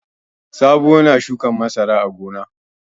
Sabo yana shukan masara a gona.